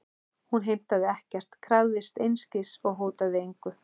Hún heimtaði ekkert, krafðist einskis og hótaði engu.